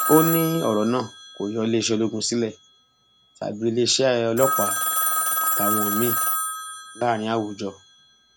ó ní ọrọ náà kó yọ iléeṣẹ ológun sílẹ tàbí iléeṣẹ ọlọpàá àtàwọn míín láàrin àwùjọ